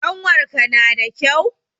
Ƙanwarka nada kyau?